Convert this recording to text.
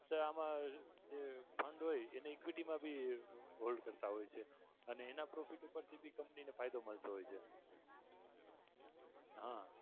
આમાં fund હોય એને equity મા ભી hold કરતાં હોય છે એના profit પરથી બીજી company ને ફાયદો મળતો હોય છે. હા